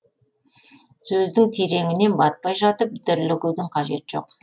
сөздің тереңіне батпай жатып дүрлігудің қажеті жоқ